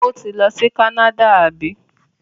Ó ti lọ sí Canada, àbí?